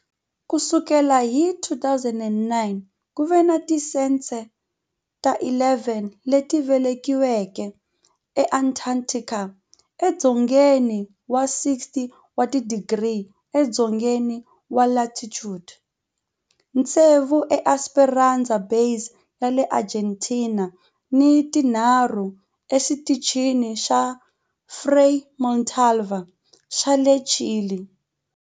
Ku sukela hi 2009, ku ve ni tincece ta 11 leti velekiweke eAntarctica, edzongeni wa 60 wa tidigri edzongeni wa latitude, tsevu eEsperanza Base ya le Argentina ni tinharhu eXitichini xa Frei Montalva xa le Chile.